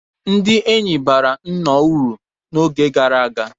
Ndị enyi bara nnọọ uru n'oge gara aga.